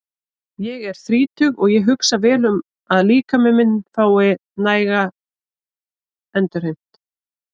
Ég er þrítugur og ég hugsa vel um að líkaminn fái næga endurheimt.